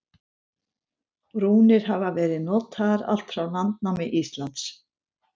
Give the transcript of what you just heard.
rúnir hafa verið notaðar allt frá landnámi íslands